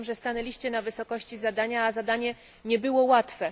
Uważam, że stanęliście na wysokości zadania, a zadanie nie było łatwe.